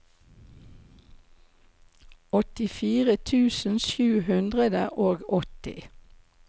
åttifire tusen sju hundre og åtti